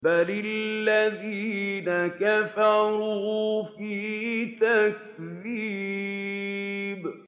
بَلِ الَّذِينَ كَفَرُوا فِي تَكْذِيبٍ